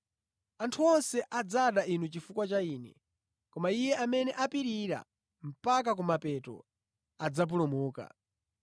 Anthu onse adzada inu chifukwa cha Ine, koma iye amene apirira mpaka kumapeto, adzapulumuka.